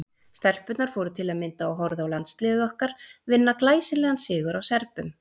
Stelpurnar fóru til að mynda og horfðu á landsliðið okkar vinna glæsilegan sigur á Serbum.